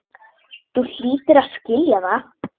Þú hlýtur að skilja það.